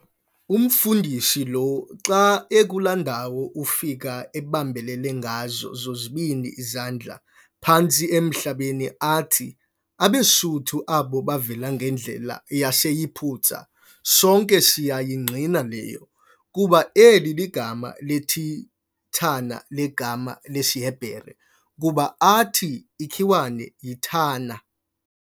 Umfundisi lo, xa akula ndawo ufike ebambelele ngazo zozibini izandla phantsi emhlabeni athi, abeSuthu abo bavela ngendlela yaseYiphutha - sonke siya yingqina leyo, kuba eli ligama lethithana ligama lesiHebhere, kuba athi ikhiwane yi"thanah".